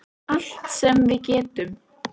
Allt sem við getum.